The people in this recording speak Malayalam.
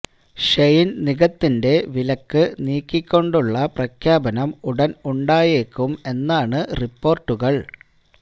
ഷെയിൻ നിഗത്തിന്റെ വിലക്ക് നീക്കിക്കൊണ്ടുള്ള പ്രഖ്യാപനം ഉടൻ ഉണ്ടായേക്കും എന്നണ് റിപ്പോർട്ടുകൾ